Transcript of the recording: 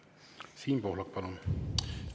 Siim Pohlak, palun!